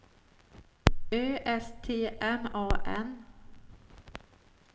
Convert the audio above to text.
Ö S T M A N